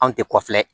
Anw tɛ kɔfilɛ